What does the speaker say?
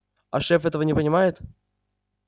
а шеф этого не понимает